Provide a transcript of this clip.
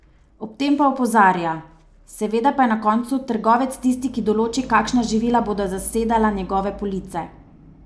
Ob tem pa opozarja: "Seveda pa je na koncu trgovec tisti, ki določi, kakšna živila bodo zasedala njegove police.